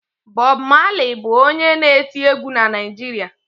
Bọb Malị bụ onye na-eti egwu na Naịjirịa.